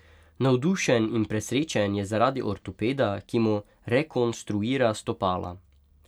Navdušen in presrečen je zaradi ortopeda, ki mu rekonstruira stopala.